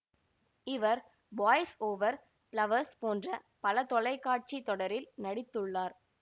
இவர் Boys Over Flowers போன்ற பல தொலைக்காட்சி தொடரில் நடித்துள்ளார்